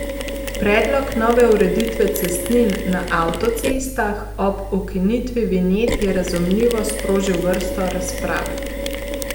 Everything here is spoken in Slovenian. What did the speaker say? Predlog nove ureditve cestnin na avtocestah ob ukinitvi vinjet je razumljivo sprožil vrsto razprav.